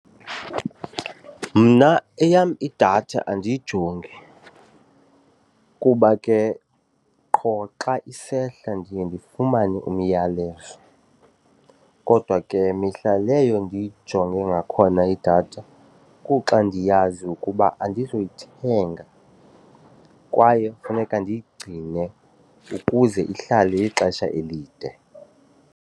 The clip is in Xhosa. Mna eyam idatha andiyijongi kuba ke qho xa isehla ndiye ndifumane umyalezo kodwa ke mihla leyo ndiyijonga ngakhona idatha kuxa ndiyazi ukuba andizuyithenga kwaye kufuneka ndiyigcine ukuze ihlale ixesha elide.